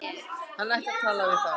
Hann ætti að tala við þá.